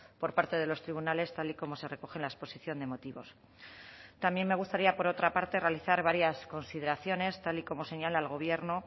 por parte de los tribunales tal y como se recoge en la exposición de motivos también me gustaría por otra parte realizar varias consideraciones tal y como señala el gobierno